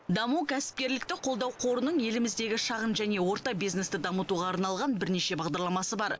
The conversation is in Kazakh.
даму кәсіпкерлікті қолдау қорының еліміздегі шағын және орта бизнесті дамытуға арналған бірнеше бағдарламасы бар